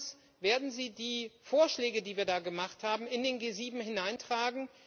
Herr Timmermans, werden Sie die Vorschläge, die wir da gemacht haben, in die G7 hineintragen?